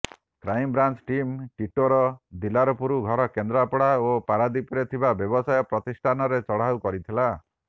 crime branch team ଟିଟୋର ଦିଲାରପୁର ଘର କେନ୍ଦ୍ରାପଡ଼ା ଓ ପାରାଦୀପରେ ଥିବା ବ୍ୟବସାୟ ପ୍ରତିଷ୍ଠାନରେ ଚଢ଼ାଉ କରିଥିଲା